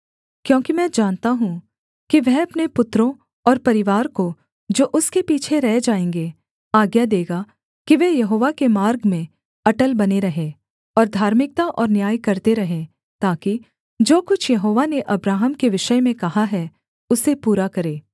क्योंकि मैं जानता हूँ कि वह अपने पुत्रों और परिवार को जो उसके पीछे रह जाएँगे आज्ञा देगा कि वे यहोवा के मार्ग में अटल बने रहें और धार्मिकता और न्याय करते रहें ताकि जो कुछ यहोवा ने अब्राहम के विषय में कहा है उसे पूरा करे